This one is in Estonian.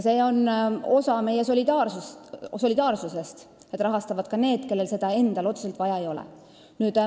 See on osa meie solidaarsusest, et rahastavad ka need, kellel endal seda teenust otseselt vaja ei ole.